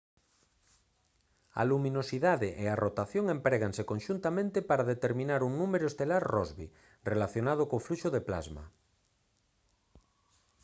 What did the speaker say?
a luminosidade e a rotación empréganse conxuntamente para determinar un número estelar rossby relacionado co fluxo de plasma